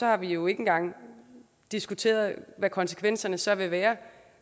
har vi jo ikke engang diskuteret hvad konsekvenserne så vil være